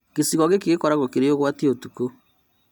Gĩcigo gĩkĩ gĩkoragwo kĩrĩ ũgwati ũtukũ